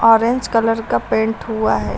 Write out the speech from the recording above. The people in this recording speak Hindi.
ऑरेंज कलर का पेंट हुआ है।